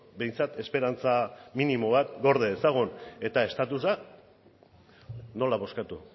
behintzat esperantza minimo bat gorde dezagun eta estatusa nola bozkatu